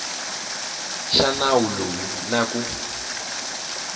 xa nawu lowu na ku